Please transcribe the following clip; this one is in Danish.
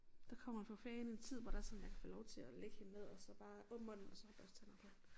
Der kommer vel for fanden en tid hvor der sådan jeg kan få lov til at lægge hende ned og så bare åbn munden og så børste tænder på hende